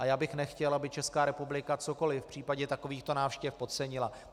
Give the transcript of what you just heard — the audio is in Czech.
A já bych nechtěl, aby Česká republika cokoli v případě takovýchto návštěv podcenila.